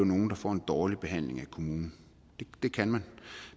nogle der får en dårlig behandling af kommunen det kan man